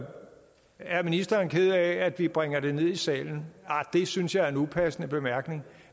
er ministeren ked af at vi bringer det ned i salen det synes jeg er en upassende bemærkning